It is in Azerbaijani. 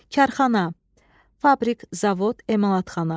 Karxana, fabrik, zavod, emalatxana.